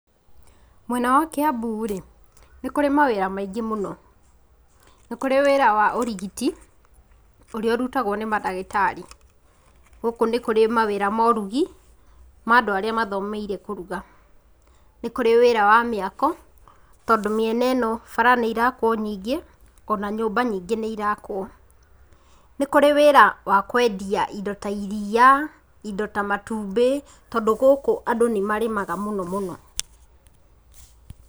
Mwena wa Kiambu-rĩ, nĩ kũrĩ mawĩra maingĩ mũno, nĩ kũrĩ ũrigiti, ũrĩa ũrutagwo nĩ mandagĩtarĩ. Gũkũ nĩ kũrĩ mawĩra ma ũrugi, ma andũ arĩa mathomeire kũruga. Nĩ kũrĩ wĩra ma mĩako, tondũ mĩena ĩno bara nĩirakwo nyingĩ, o na nyũmba nyingĩ nĩirakwo. Nĩ kũrĩ wĩra wa kwendia indo ta iria, indo ta matumbĩ, tondũ gũkũ andũ nĩ marĩmaga mũno mũno.